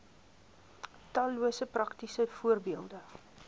tallose praktiese voorbeelde